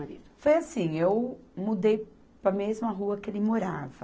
Foi assim, eu mudei para a mesma rua que ele morava.